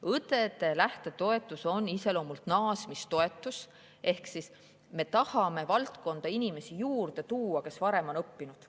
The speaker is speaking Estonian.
Õdede lähtetoetus on iseloomult naasmistoetus ehk me tahame valdkonda juurde tuua inimesi, kes varem on õppinud.